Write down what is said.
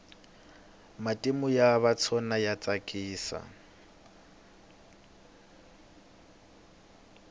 matimu ya vatsona ya tsakisa